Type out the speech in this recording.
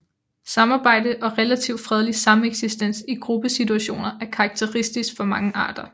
Samarbejde og relativt fredelig sameksistens i gruppesituationer er karakteristisk for mange arter